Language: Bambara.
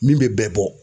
Min bɛ bɛɛ bɔ